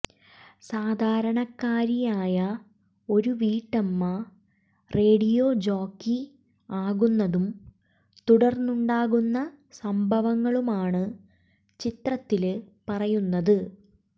സാധാരണക്കാരിയായ ഒരു വീട്ടമ്മ radio jockey ആകുന്നതും തുടര്ന്നുണ്ടാകുന്ന സംഭവങ്ങളുമാണ് ചിത്രത്തില് പറയുന്നത്